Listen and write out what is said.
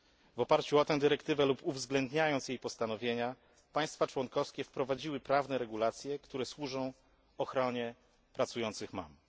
W oparciu o tę dyrektywę lub uwzględniając jej postanowienia, państwa członkowskie wprowadziły prawne regulacje, które służą ochronie pracujących mam.